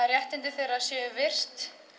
réttindi þeirra séu virt